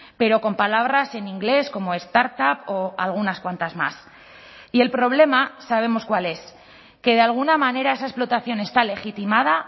pero con palabras en inglés como startup o algunas cuantas más y el problema sabemos cuál es que de alguna manera esa explotación está legitimada